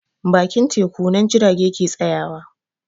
Bakin teku nan jirage ke tsayawa